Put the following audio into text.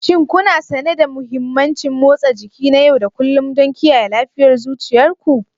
Shin kuna sane da mahimmancin motsa jiki na yau da kullun don kiyaye lafiyar zuciyar ku?